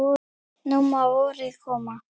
Nú má vorið koma.